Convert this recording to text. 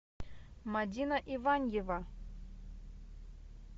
мадина иваньева